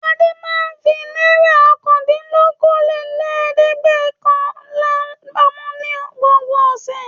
Adé máa ń fi náírà ọ̀kàndìnlókóólélẹ́ẹ̀dẹ́gbẹ̀ọ̀kànlá pamọ́ ní gbogbo ọ̀sẹ̀.